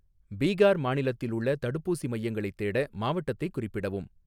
பீகார் மாநிலத்தில் உள்ள தடுப்பூசி மையங்களைத் தேட, மாவட்டத்தைக் குறிப்பிடவும்